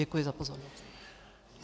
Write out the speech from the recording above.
Děkuji za pozornost.